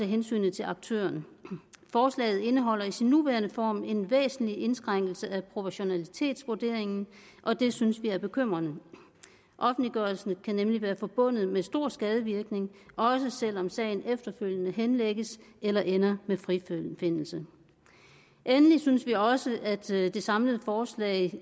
hensynet til aktørerne forslaget indeholder i sin nuværende form en væsentlig indskrænkning af proportionalitetsvurderingen og det synes vi er bekymrende offentliggørelsen kan nemlig være forbundet med stor skadevirkning også selv om sagen efterfølgende henlægges eller ender med en frifindelse endelig synes vi også at det samlede forslag